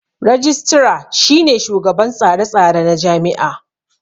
Rajistira shine shugaban tsare tsare na jami'a